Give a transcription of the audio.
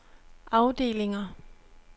afdelinger